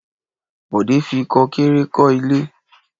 Bọ̀dé fi kò kéré kọ́ ilé.